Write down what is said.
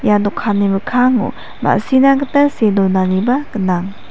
ia dokani mikkango ma·sina gita see donaniba gnang.